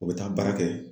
U bɛ taa baara kɛ